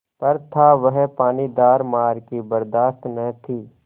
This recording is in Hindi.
पर था वह पानीदार मार की बरदाश्त न थी